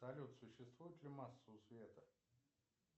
салют существует ли масса у света